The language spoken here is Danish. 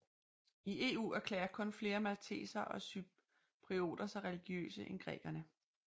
I EU erklærer kun flere maltesere og cyprioter sig religiøse end grækerne